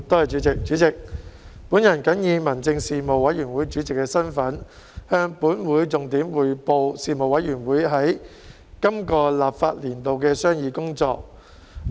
主席，我謹以民政事務委員會主席的身份，向本會重點匯報事務委員會在本立法年度的商議工作。